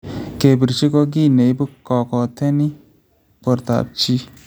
Kepiirchi ko kii neibu kokooteni bortaab chi